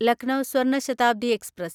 Lucknow Swarna Shatabdi express